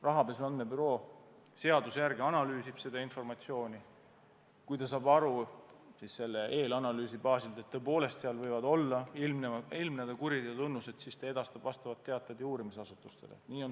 Rahapesu andmebüroo seaduse järgi analüüsib seda informatsiooni ja kui ta saab eelanalüüsi baasil aru, et tõepoolest võivad ilmneda kuriteo tunnused, siis ta edastab selle info uurimisasutustele.